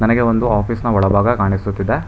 ನನಗೆ ಒಂದು ಆಫೀಸ್ ನ ಒಳಭಾಗ ಕಾಣಿಸುತ್ತಿದೆ.